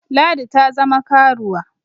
Ladi ta zama karuwa